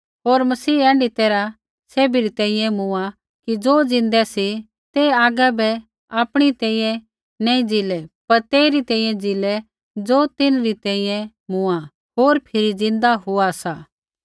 होर मसीह ऐण्ढी तैरहै सैभी री तेइयै मूँआ कि ज़ो ज़िन्दै सी ते आगै बै आपणी तैंईंयैं नैंई ज़ीलै पर तेइरी तेइयै ज़ीलै ज़ो तिन्हरी तेइयै मूँआ होर फिरी ज़िन्दा हुआ सा